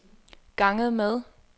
ganget med